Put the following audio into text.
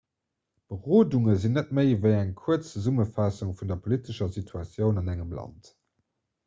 berodunge sinn net méi ewéi eng kuerz zesummefaassung vun der politescher situatioun an engem land